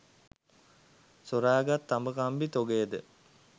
සොරාගත් තඹ කම්බි තොගයද